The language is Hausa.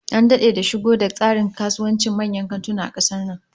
An dade da shigo da tsarin kasuwancin manyan kantuna a kasar nan